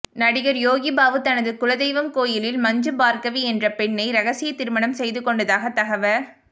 நடிகர் யோகிபாபு தனது குலதெய்வம் கோயிலில் மஞ்சுபார்கவி என்ற பெண்ணை இரகசிய திருமணம் செய்துகொண்டதாக தகவ